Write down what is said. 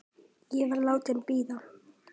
Ég var látin bíða.